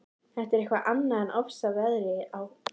Það er eitthvað annað en ofsaveðrið á